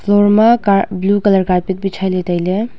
floor ma kar blue colour carpet bhichhai le taile.